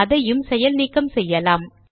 அதையும் செயல் நீக்கம் செய்யலாம்